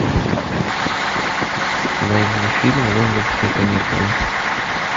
найди фильм лондонские каникулы